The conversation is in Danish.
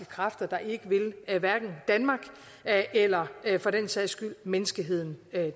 kræfter der ikke vil danmark eller for den sags skyld menneskeheden